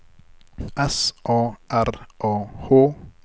S A R A H